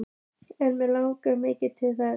En mig langar mikið til þess.